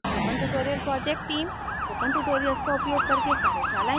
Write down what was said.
spoken tutorial project team spoken tutorials का उपयोग करके कार्यशालाएं चलाती है